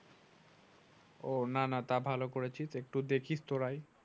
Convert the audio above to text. ও না না তা ভালো করেছিস একটু দেখিস তোরাই।